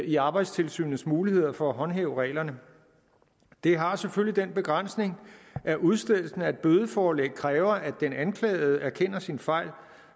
i arbejdstilsynets muligheder for at håndhæve reglerne det har selvfølgelig den begrænsning at udstedelsen af et bødeforelæg kræver at den anklagede erkender sin fejl